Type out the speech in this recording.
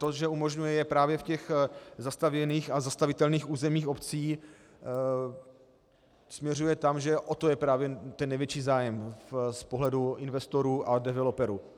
To, že umožňuje, je právě v těch zastavěných a zastavitelných územích obcí, směřuje tam, že o to je právě ten největší zájem z pohledu investorů a developerů.